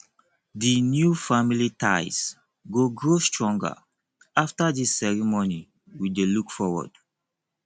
the new family ties go grow stronger after this ceremony we dey look forward